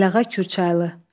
Ələğa Kürçaylı.